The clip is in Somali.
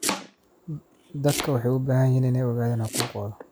Dadku waxay u baahan yihiin inay ogaadaan xuquuqdooda.